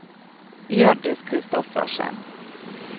Hjørdis Kristoffersen